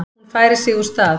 Hún færir sig úr stað.